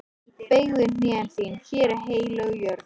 Beygðu hné þín, hér er heilög jörð.